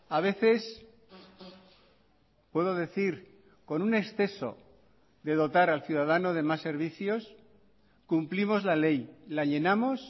a veces puedo decir con un exceso de dotar al ciudadano de más servicios cumplimos la ley la llenamos